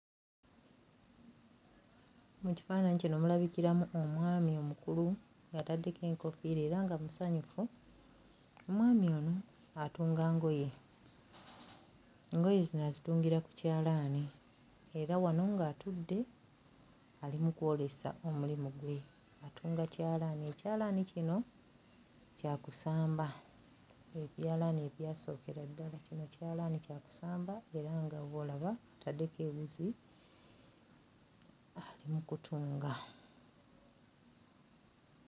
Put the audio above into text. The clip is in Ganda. Mu kifaananyi kino mulabikiramu omwami omukulu ataddeko enkoofiira era nga musanyufu, omwami ono atunga ngoye, engoye zino azitungira ku kyalaani era wano ng'atudde ali mu kwolesa omulimu gwe, atunga kyalaani, ekyalaani kino kya kusamba, ebyalaani ebyasookera ddala kino kyalaani kya kusamba era nga bw'olaba ataddeko ewuzi ali mu kutunga.